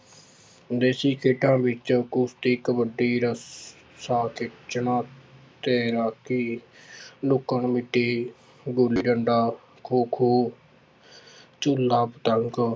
ਦੇਸੀ ਖੇਡਾਂ ਵਿੱਚ ਕੁਸਤੀ, ਕਬੱਡੀ, ਰੱਸਾ ਖਿੱਚਣਾ ਤੇ ਹਾਕੀ ਲੁੱਕਣ ਮੀਟੀ, ਗੁੱਲੀ ਡੰਡਾ, ਖੋ-ਖੋ ਝੂਲਾ, ਪਤੰਗ